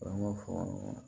An b'o fɔ